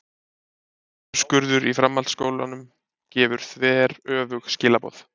Niðurskurður í framhaldsskólanum gefur þveröfug skilaboð